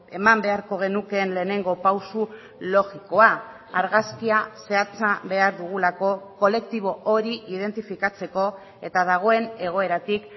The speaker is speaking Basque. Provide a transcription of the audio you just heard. eman beharko genukeen lehenengo pausu logikoa argazkia zehatza behar dugulako kolektibo hori identifikatzeko eta dagoen egoeratik